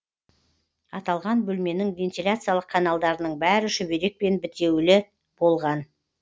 аталған бөлменің вентиляциялық каналдарының бәрі шүберекпен бітеулі болған